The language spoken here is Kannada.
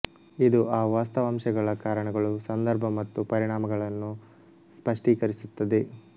ಇದು ಆ ವಾಸ್ತವಾಂಶಗಳ ಕಾರಣಗಳು ಸಂದರ್ಭ ಮತ್ತು ಪರಿಣಾಮಗಳನ್ನು ಸ್ಪಷ್ಟೀಕರಿಸುತ್ತದೆ